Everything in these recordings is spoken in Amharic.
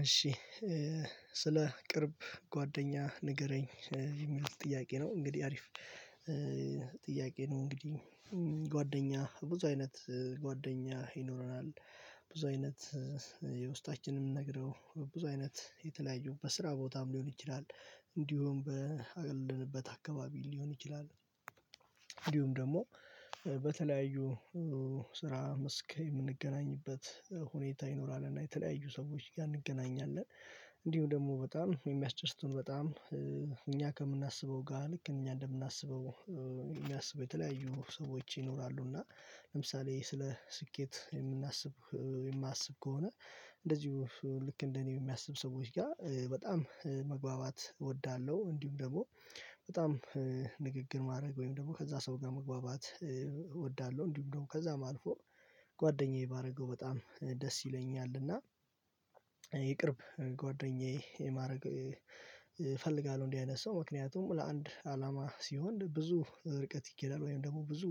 እሺ ስለ ቅርብ ጓደኛ ንገረኝ የሚል ጥያቄ ነው? እንግዲህ አሪፍ ጥያቄ ነው እንግዲህ ጓደኛ ብዙ አይነት ጓደኛ ይኖረናል። ብዙ አይነት የውስጣችንን ነግረው ብዙ አይነት የተለያዩ በስራ ቦታም ሊሆን ይችላል እንዲሁም በአለንበት አካባቢ ሊሆን ይችላል። እንዲሁም ደግሞ በተለያዩ ስራ መስክ የምንገናኝበት ሁኔታ ይኖራል እና የተለያዩ ሰዎች ጋር እንገናኛለን እንዲሁ ደግሞ በጣም የሚያስደስቱን በጣም እኛ ከምናስበው ጋር ልክ እኛ እንደምናስበው የሚያስቡ የተለያዩ ሰዎች ይኖራሉ። እና ለምሳሌ ስለ ስኬት የምናስብ የማስብ ከሆነ እንደዚሁ ልክ እንደኔ የሚያስብ ሰዎች ጋር በጣም መግባባት እወዳለሁ። እንዲሁም ደግሞ በጣም ንግግር ማድረግ ወይም ደግሞ ከዛ ሰው ጋር መግባባት እወዳለሁ እንዲሁም ደግሞ ከዛም አልፎ ጓደኛዬ ባረገው በጣም ደስ ይለኛልና። ጓደኛዬ ማረግ እፈልጋለሁ እንዲህ አይነት ሰው ምክንያቱም ለአንድ አላማ ሲሆን ብዙ ርቀት ይኬዳል ወይም ደግሞ ብዙ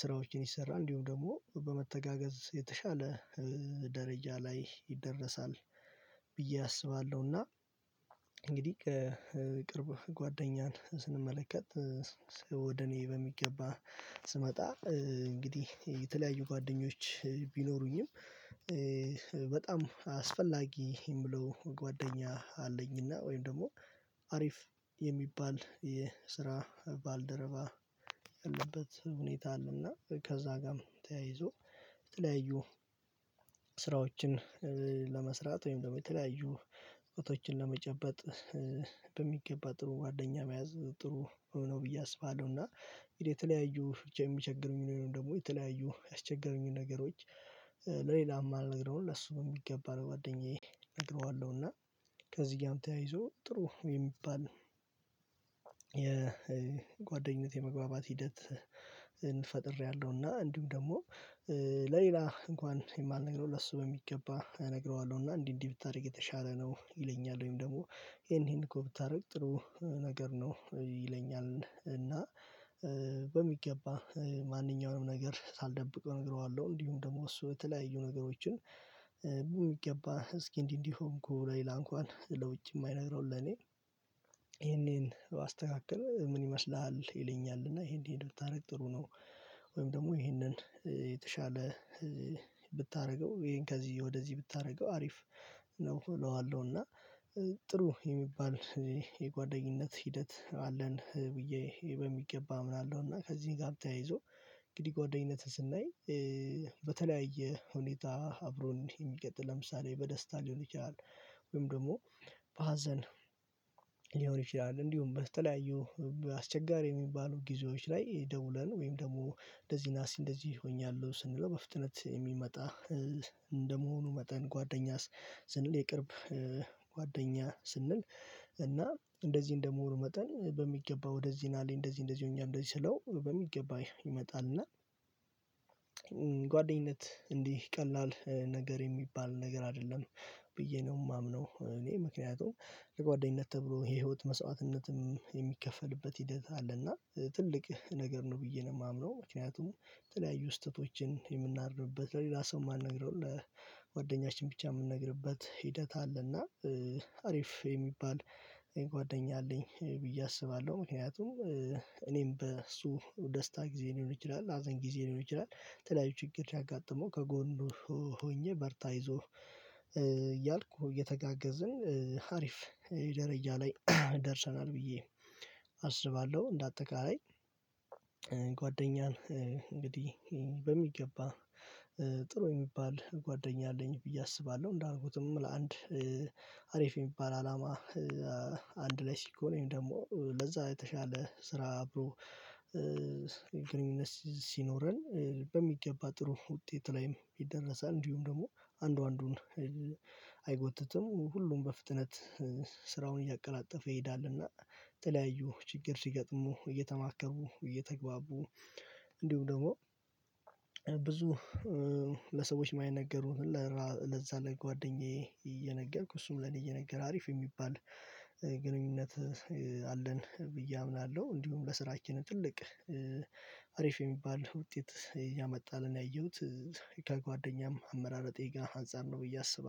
ስራዎችን ይሰራል እንዲሁም ደግሞ በመተጋገዝ የተሻለ ደረጃ ላይ ይደረሳል ብዬ አስባለሁና። እንግዲህ ከቅርብ ጓደኛን ስንመለከት ወደ እኔ በሚገባ ስመጣ እንግዲህ የተለያዩ ጓደኞች ቢኖሩኝም በጣም አስፈላጊ እምለው ጓደኛ አለኝና ወይም ደግሞ አሪፍ የሚባል የስራ ባልደረባ ያለበት ሁኔታ አለና ከዛ ጋም ተያይዞ የተለያዩ ስራዎችን ለመስራት ወይም የተለያዩ እውቀቶችን ለመጨበጥ በሚገባ ጥሩ ጓደኛ መያዝ ጥሩ ነው። ብዬ አስባለሁ እና የተለያዩ የሚቸግሩኝን ወይም ደግሞ የተለያዩ ያስቸገሩኝ ነገሮች ለሌላ ማልነግረውን ለሱ በሚገባ ለጓደኛዬ እነግረዋለሁ እና ከዚህ ጋርም ተያይዞ ጥሩ የሚባል የጓደኝነት የመግባባት ሂደት ፈጥሬያለሁ። እና እንዲሁም ደግሞ ለሌላ እንኳን የማልነግረው ለሱ በሚገባ እነግረዋለሁ እና እንዲህ እንዲህ ብታደርግ የተሻለ ነው ይለኛል ወይም ደግሞ ይሄን ይሄንኮ ብታደርግ ጥሩ ነገር ነው ይለኛል እና በሚገባ ማንኛውንም ነገር ሳልደብቀው እነግረዋለሁ። እንዲሁም ደግሞ እሱ የተለያዩ ነገሮችን በሚገባ እስኪ እንዲህ እንዲህ ሆንኩ ለሌላ እንኳን ለውጪ የማይነግረውን ለኔ ይሄን ይሄን ባስተካክል ምን ይመስልሃል ይለኛል? እና ይሄን ይሄን ብታደርግ ጥሩ ነው ወይም ደግሞ ይሄንን የተሻለ ብታደርገው ይሄን ከዚህ ወደዚህ ብታደርገው አሪፍ ነው እለዋለሁ እና ጥሩ የሚባል የጓደኝነት ሂደት አለን ብዬ በሚገባ አምናለሁ። እና ከዚህ ጋርም ተያይዞ እንግዲህ ጓደኝነትን ስናይ በተለያየ ሁኔታ አብሮን የሚቀጥል ለምሳሌ በደስታ ሊሆን ይችላል ወይም ደግሞ በሀዘን ሊሆን ይችላል እንዲሁም በተለያዩ አስቸጋሪ የሚባሉ ጊዜዎች ላይ ደውለን ወይም ደግሞ እንደዚህ ና እስቲ እንደዚህ ሆኛለሁ ስንለው በፍጥነት የሚመጣ እንደመሆኑ መጠን ጓደኛስ ስንል የቅርብ ጓደኛ ስንል እና እንደዚህ እንደመሆኑ መጠን በሚገባ ወደዚህ ናልኝ እንደዚህ እንደዚህ ሆኛለው እንደዚህ ስለው በሚገባ ይመጣልና። እና ጓደኝነት እንዲህ ቀላል ነገር የሚባል ነገር አይደለም ብዬ ነው የማምነው እኔ ምክንያቱም ለጓደኝነት ተብሎ የህይወት መስዋዕትነትም የሚከፈልበት ሂደት አለ እና ትልቅ ነገር ነው ብዬ ነው የማምነው። ምክንያቱም የተለያዩ ስህተቶችን የምናርምበት ለሌላ ሰው የማንነግረው ለጓደኛችን ብቻ የምንነግርበት ሂደት አለና አሪፍ የሚባል ጓደኛ አለኝ ብዬ አስባለሁ። ምክንያቱም እኔም በእሱ ደስታ ጊዜ ሊሆን ይችላል ሀዘን ጊዜ ሊሆን ይችላል ተለያዩ ችግር ሲያጋጥመው ከጎኑ ሆኜ በርታ አይዞህ እያልኩ እየተጋገዝን ሀሪፍ ደረጃ ላይ ደርሰናል ብዬ አስባለሁ። እንደ አጠቃላይ ጓደኛን እንግዲህ በሚገባ ጥሩ የሚባል ጓደኛ አለኝ ብዬ አስባለሁ እንዳልኩትም ለአንድ አሪፍ የሚባል አላማ አንድ ላይ ሲኮን ወይም ደግሞ ለዛ የተሻለ ስራ አብሮ ግንኙነት ሲኖረን በሚገባ ጥሩ ውጤት ላይም ይደረሳል እንዲሁም ደግሞ አንዱ አንዱን አይጎትትም ሁሉም በፍጥነት ስራውን እያቀላጠፈ ይሄዳልና። የተለያዩ ችግር ሲገጥሙ እየተማከሩ እየተግባቡ እንዲሁም ደግሞ ብዙ ለሰዎች የማይነገሩ ግን ለዛ ለጓደኛዬ እየነገርኩ እሱም ለኔ እየነገር አሪፍ የሚባል ግንኙነት አለን ብዬ አምናለሁ። እንዲሁም ለስራችንም ትልቅ አሪፍ የሚባል ውጤት ያመጣልን ያየሁት ከጓደኛም አመራረጤ ጋር አንፃር ነው ብዬ አስባለሁ